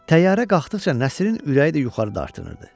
Təyyarə qalxdıqca Nəsrinin ürəyi də yuxarı dartınırdı.